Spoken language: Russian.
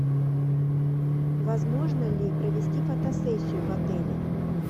возможно ли провести фотосессию в отеле